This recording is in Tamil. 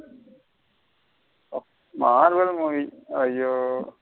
Marvel movie அய்யோ.